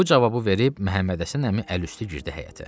Bu cavabı verib Məhəmməd Həsən əmi əl üstü girdi həyətə.